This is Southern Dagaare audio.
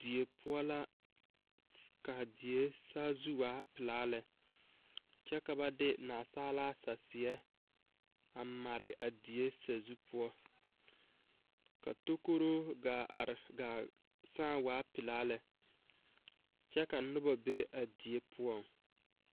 Die poɔ la ka die poɔ saazu waa pilaa lɛ kyɛ ka ba de nasaalaa saseɛ a mare a sazu poɔ kaa tokoro ggaa are gaa sãã waa pilaa lɛ kyɛ ka noba be a die.